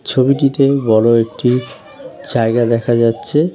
ছবিটিতেই বড়ো একটি জায়গা দেখা যাচ্ছে।